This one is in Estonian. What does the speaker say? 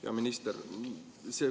Hea minister!